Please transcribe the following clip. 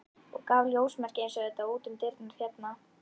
og gaf ljósmerki eins og þetta út um dyrnar hérna.